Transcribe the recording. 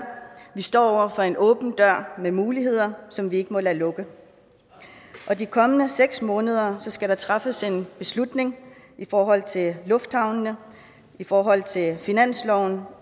vi står over for en åben dør af muligheder som vi ikke må lade lukke de kommende seks måneder skal der træffes en beslutning i forhold til lufthavnene i forhold til finansloven